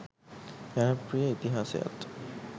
ජනප්‍රිය ඉතිහාසයත්